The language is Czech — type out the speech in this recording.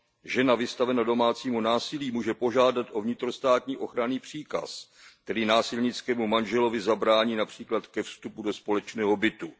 Žena vystavená domácímu násilí může požádat o vnitrostátní ochranný příkaz, který násilnickému manželovi zabrání například ke vstupu do společného bytu.